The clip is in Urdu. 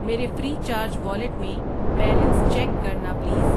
میرے فری چارج والیٹ میں بیلنس چیک کرنا پلیز۔